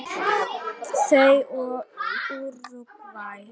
Þau og Úrúgvæ.